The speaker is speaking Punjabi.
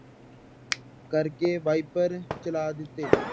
ਕਰਕੇ ਵਾਇਪਰ ਚਲਾ ਦਿੱਤੇ।